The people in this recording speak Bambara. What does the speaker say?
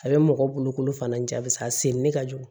A bɛ mɔgɔ boloko fana ja bisi a sen ni ka jugu